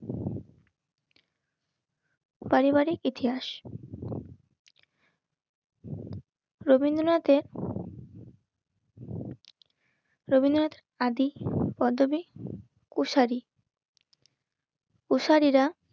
পারিবারিক ইতিহাস রবীন্দ্রনাথের রবীন্দ্রনাথ আদি পদ্মবিদ পোশারি. উসারিরা